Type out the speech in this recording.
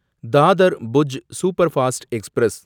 Dadar Bhuj superfast express